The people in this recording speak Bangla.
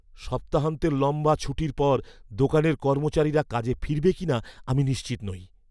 সপ্তাহান্তের লম্বা ছুটির পর দোকানের কর্মচারীরা কাজে ফিরবে কিনা আমি নিশ্চিত নই!